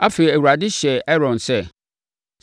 Afei, Awurade hyɛɛ Aaron sɛ,